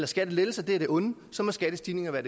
skattelettelser er af det onde så må skattestigninger